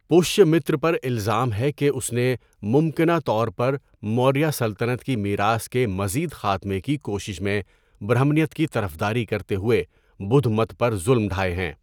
پشیامتر پر الزام ہے کہ اس نے، ممکنہ طور پر موریہ سلطنت کی میراث کے مزید خاتمے کی کوشش میں، برہمنیت کی طرفداری کرتے ہوئے بدھ مت پر ظلم ڈھائے ہیں۔